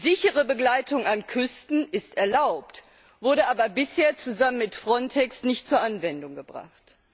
Sichere Begleitung an Küsten ist erlaubt, wurde aber bisher zusammen mit FRONTEX nicht zur Anwendung gebracht.